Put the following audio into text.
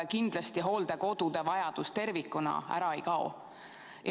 Kindlasti hooldekodude vajadus tervikuna ära ei kao.